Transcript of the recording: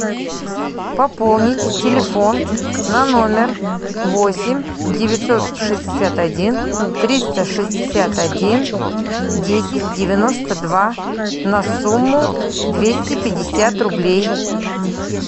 пополнить телефон на номер восемь девятьсот шестьдесят один триста шестьдесят один десять девяносто два на сумму двести пятьдесят рублей